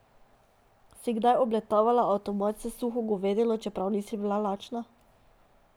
Si kaj obletavala avtomat s suho govedino, čeprav nisi bila lačna?